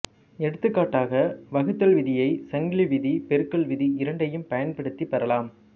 எடுத்துக்காட்டாக வகுத்தல் விதியைச் சங்கிலி விதி பெருக்கல் விதி இரண்டையும் பயன்படுத்திப் பெறலாம்